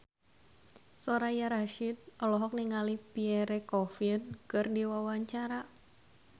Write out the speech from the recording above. Soraya Rasyid olohok ningali Pierre Coffin keur diwawancara